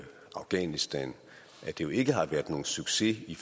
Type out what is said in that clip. afghanistan ikke har været nogen succes i